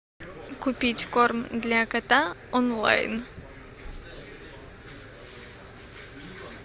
купить корм для кота онлайн